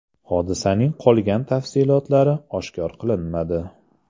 Hodisaning qolgan tafsilotlari oshkor qilinmadi.